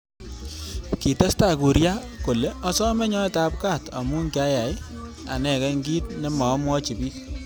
Kitestai Kuria kole asomei nyoet ab kat amu kiyai anekei ki nemaamwochi bik.